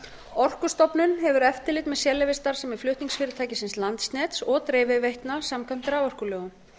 orkustofnun hefur eftirlit með sérleyfisstarfsemi flutningsfyrirtækisins landsnets og dreifiveitna samkvæmt raforkulögum